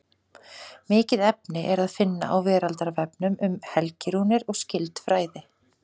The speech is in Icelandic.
Mikið efni er að finna á Veraldarvefnum um helgirúnir og skyld fræði.